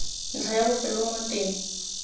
ntlha ya bofelo mo teng